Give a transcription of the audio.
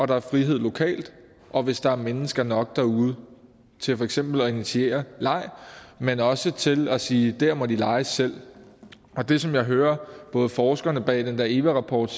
der er frihed lokalt og hvis der er mennesker nok derude til for eksempel at initiere leg men også til at sige at dér må de lege selv det som jeg hører både forskerne bag den der eva rapport